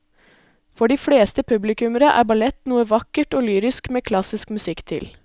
For de fleste publikummere er ballett noe vakkert og lyrisk med klassisk musikk til.